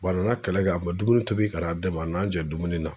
a nana kɛlɛ kɛ a bɛ dumuni tobi ka na ma a nana n jɛ dumuni na.